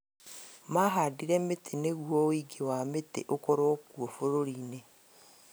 Mahandire mĩtĩ nĩguo ũingĩ wa mĩtĩ ũkorwo kuo bũrũri-inĩ